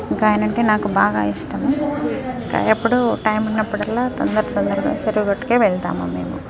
ఇక ఆయన అంటే నాకు బాగా ఇష్టము ఎప్పుడు టైం ఉన్నపుడల్లా తోన్దర తోందర్గ చెరువుగట్టుకే వెళ్తాము మేము.